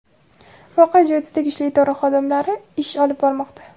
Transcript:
Voqea joyida tegishli idora xodimlari ish olib bormoqda.